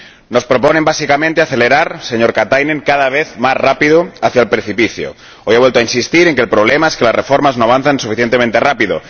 Nos proponen, básicamente, acelerar, señor Katainen, cada vez más rápido hacia el precipicio. Hoy ha vuelto a insistir en que el problema es que las reformas no avanzan suficientemente rápido.